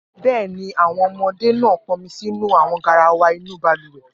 Bẹ́ẹ̀ ni, àwọn ọmọdé náà pọnmi sínú àwọn garawa inú balùwẹ̀.